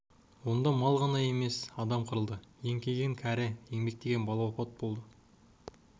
онда мал ғана емес адам қырылды еңкейген кәрі еңбектеген бала опат болды